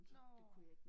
Nåh